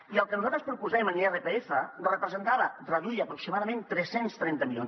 i el que nosaltres proposem en irpf representava reduir aproximadament tres cents i trenta milions